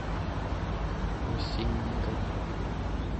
осинниками